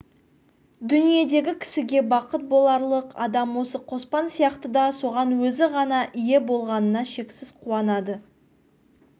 дүниедегі кісіге бақыт боларлық адам осы қоспан сияқты да соған өзі ғана ие болғанына шексіз қуанады